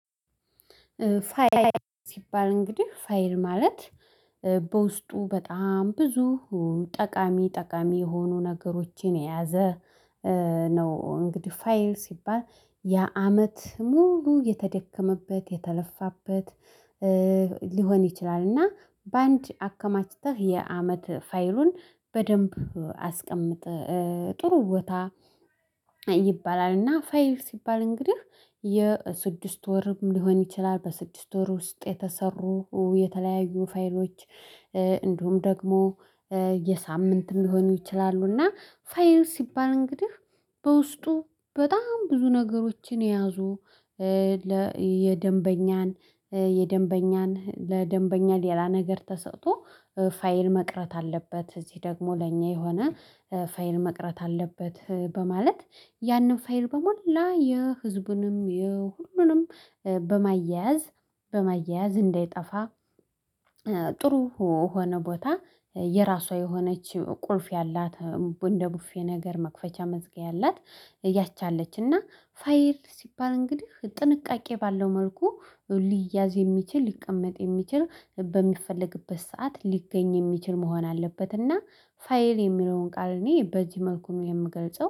ፋይል ሲባል እንግዲህ ፋይል ማለት በውስጡ በጣም ብዙ ጠቃሚ ጠቃሚ የሆኑ ነገሮችን የያዘ ነው። እንግዲህ ፋይል ሲባል ያ አመት ሙሉ የተደከመበት የተለፋበት ሊሆን ይችላል። እና በአንድ አከማችተህ የአመት ፋይሉን በደንብ አስቀምጥ ጥሩ ቦታ ይባላል። እና ፋይል ሲባል እንግዲህ የስድስት ወርም ሊሆን ይችላል በስድስት ወር ውስጥ የተሰሩ የተለያዩ ፋይሎች። እንዲሁም ደግሞ የሳምንትም ሊሆኑ ይችላሉ። እና ፋይል ሲባል እንግዲህ በውስጡ በጣም ብዙ ነገሮችን የያዙ ለየደንበኛን የደንበኛን ለደንበኛ ሌላ ነገር ተሰጥቶ ፋይል መቅረት አለበት። እዚህ ደግሞ ለእኛ የሆነ ፋ ፋይል መቅረት አለበት። በማለት ያንን ፋይል በሞላ የህዝቡንም የሁሉንም በማያያዝ በማያያዝ እንዳይጠፋ። ጥሩ የሆነ ቦታ የራሷ የሆነች ቁልፍ ያላት እንደ ቡፌ ነገር መክፈቻ መዝጊያ ያላት ያቺ አለች እና። ፋይር ሲባል እንግዲህ ጥንቃቄ ባለው መልኩ ሊያዝ የሚችል ሊቀመጥ የሚችል በሚፈለግበት ሰዓት ሊገኝ የሚችል መሆን አለበት። እና ፋይል የሚለውን ቃል እኔ በዚህ መልኩ ነው የምገልጸው